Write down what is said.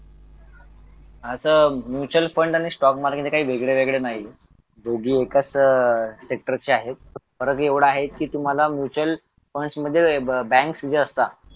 आता mutual fund आणि stock market हे काय वेगळं वेगळं नाहीये दोघी एकाच सेक्टरचे आहेत परत एवढा आहे की तुम्हाला म्युच्युअल फंड्स मध्ये बँक चे असता